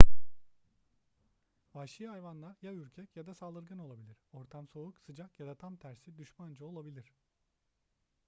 vahşi hayvanlar ya ürkek ya da saldırgan olabilir ortam soğuk sıcak ya da tam tersi düşmanca olabilir